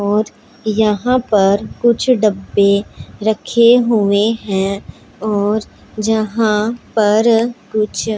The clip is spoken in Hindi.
और यहां पर कुछ डब्बे रखे हुए हैं और जहां पर कुछ--